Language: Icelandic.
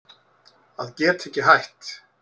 Að geta ekki hætt